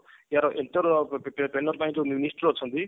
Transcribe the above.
ୟାର ଯୋଉ minister ଅଛି